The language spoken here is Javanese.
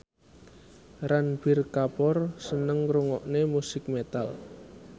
Ranbir Kapoor seneng ngrungokne musik metal